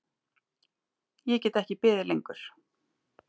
Ég get ekki beðið lengur.